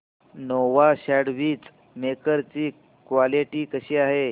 Nova sandwich maker ची quality कशी आहे